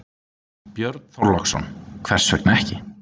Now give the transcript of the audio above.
Björn Þorláksson: Hvers vegna ekki?